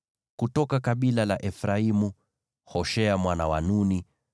kutoka kabila la Efraimu, Hoshea mwana wa Nuni;